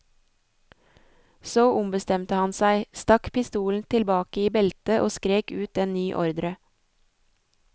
Så ombestemte han seg, stakk pistolen tilbake i beltet og skrek ut en ny ordre.